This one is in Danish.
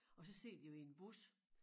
Og så sidder de jo i en bus